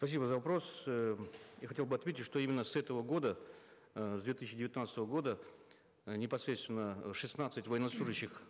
спасибо за вопрос э я хотел бы ответить что именно с этого года э с две тысячи девятнадцатого года э непосредственно шестнадцать военнослужащих